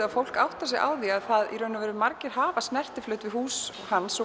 að fólk áttar sig á því hvað margir hafa snertiflöt við hús hans og